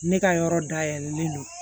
Ne ka yɔrɔ dayɛlɛlen don